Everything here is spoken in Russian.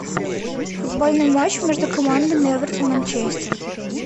футбольный матч между командами эвертон манчестер